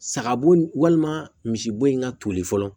Sagabo walima misibo in ka toli fɔlɔ